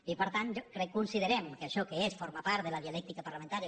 i per tant crec considerem que això és forma part de la dialèctica parlamentària